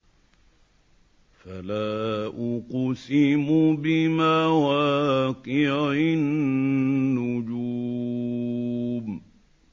۞ فَلَا أُقْسِمُ بِمَوَاقِعِ النُّجُومِ